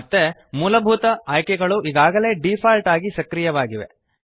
ಮತ್ತೆ ಮೂಲಭೂತ ಆಯ್ಕೆಗಳು ಈಗಾಗಲೇ ಡಿಫಾಲ್ಟ್ ಆಗಿ ಸಕ್ರಿಯವಾಗಿವೆ